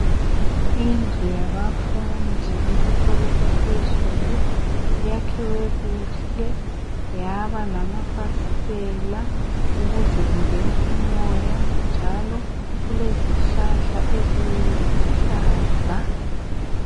Indlu yabafundi besikolo saphezulu, yakhiwe kuhle yaba lamafasitela ukuze kungene umoya njalo kulezihlahla eziluhlaza.